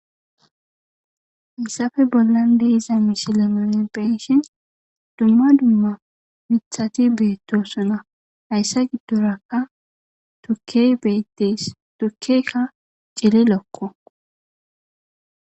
Haysappe bollan de'za misile nuni beyishn dumma dumma mithati betosona, haysa gidoraka tukeyi betes, tukeyka cililoko.